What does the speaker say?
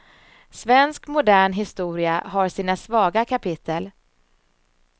Svensk modern historia har sina svaga kapitel.